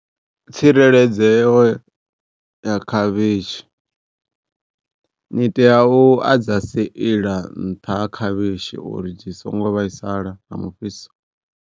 Tsireledzeo ya khavhishi ni tea u a dza seila nṱha ha khavhishi uri dzi songo vhaisala nga mufhiso.